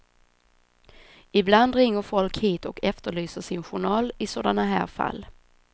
Ibland ringer folk hit och efterlyser sin journal i sådana här fall.